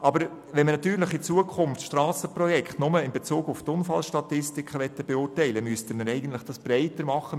Aber wenn man Strassenprojekte künftig nur in Bezug auf Unfallstatistiken beurteilen möchte, müsste man das eigentlich breiter machen.